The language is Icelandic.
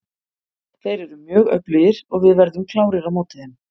Þeir eru mjög öflugir og við verðum klárir á móti þeim.